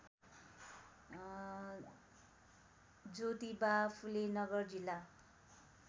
ज्योतिबा फुले नगर जिल्ला